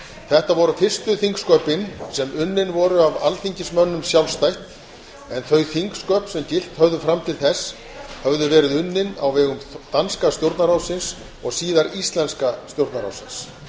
þetta voru fyrstu þingsköpin sem unnin voru af alþingismönnum sjálfstætt en þau þingsköp sem gilt höfðu fram til þess höfðu verið unnin á vegum danska stjórnarráðsins og síðar íslenska stjórnarráðsins